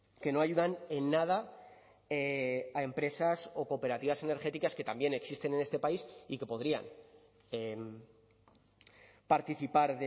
que no ayudan en nada a empresas o cooperativas energéticas que también existen en este país y que podrían participar